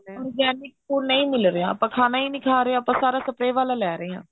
organic food ਨਹੀਂ ਮਿਲ ਰਿਹਾ ਖਾਣਾ ਹੀ ਨਹੀਂ ਖਾ ਰਹੇ ਆਪਾਂ ਸਾਰਾ spray ਵਾਲਾ ਲੈ ਰਹੇਂ ਹਾਂ